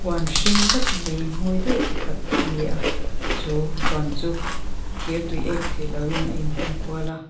huan hring dup mai mawi deuh pakhat a ni a chu huan chu thir tui ek thei loin a inhung kual a.